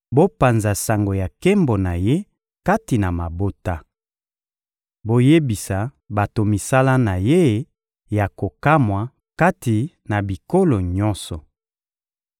Bopanza sango ya nkembo na Ye kati na mabota! Boyebisa bato misala na Ye ya kokamwa kati na bikolo nyonso!